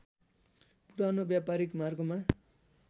पुरानो व्‍यापारिक मार्गमा